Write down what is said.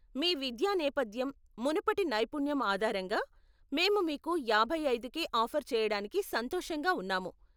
మీ విద్యా నేపథ్యం, మునుపటి నైపుణ్యం ఆధారంగా మేము మీకు యాభై ఐదుకే ఆఫర్ చేయడానికి సంతోషంగా ఉన్నాము.